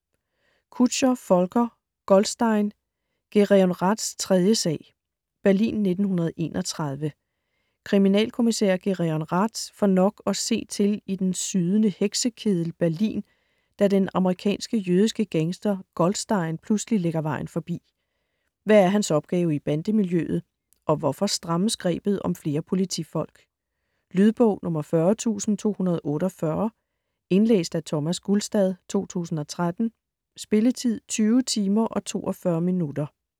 Kutscher, Volker: Goldstein: Gereon Raths tredje sag Berlin 1931. Kriminalkommissær Gereon Rath får nok at se til i den sydende heksekeddel Berlin, da den amerikanske jødiske gangster Goldstein pludselig lægger vejen forbi. Hvad er hans opgave i bandemiljøet, og hvorfor strammes grebet om flere politifolk. Lydbog 40248 Indlæst af Thomas Gulstad, 2013. Spilletid: 20 timer, 42 minutter.